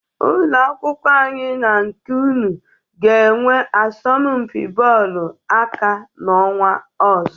Ụlọ akwụkwọ anyị na nke unu ga-enwe asọmpị bọọlụ aka n'ọnwa ọzọ.